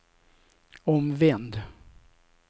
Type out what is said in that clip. omvänd